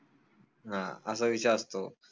हां असा विषय असतो